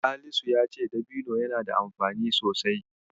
Salisu ya ce dabino yana da amfani sosai.